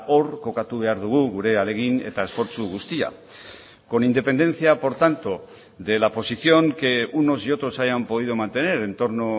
hor kokatu behar dugu gure ahalegin eta esfortzu guztia con independencia por tanto de la posición que unos y otros hayan podido mantener en torno